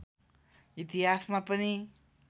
इतिहासमा पनि